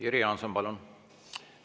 Jüri Jaanson, palun!